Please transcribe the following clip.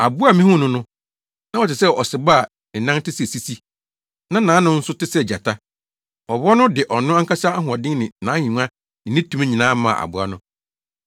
Aboa a mihuu no no, na ɔte sɛ ɔsebɔ a ne nan te sɛ sisi, na nʼano nso te sɛ gyata. Ɔwɔ no de ɔno ankasa ahoɔden ne nʼahengua ne ne tumi nyinaa maa aboa no.